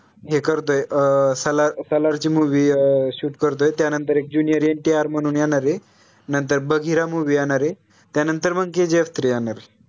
हे करतोय अं सालार, सालार ची movie अं shoot करतोय त्या नंतर एक junior NTR म्हणून येणार आहे, नंतर बघिरा movie येणार आहे त्या नंतर मग KGF three येणार आहे